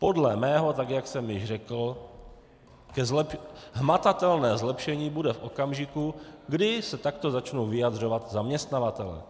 Podle mého, tak jak jsem již řekl, hmatatelné zlepšení bude v okamžiku, kdy se takto začnou vyjadřovat zaměstnavatelé.